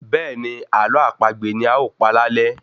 Bẹ́ẹ̀ni Ààlọ́ àpagbè ni a ó pa lálé